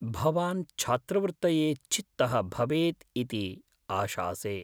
भवान् छात्रवृत्तये चित्तः भवेत् इति आशासे।